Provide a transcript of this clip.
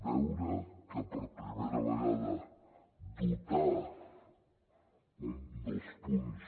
veure que per primera vegada dotar un dels punts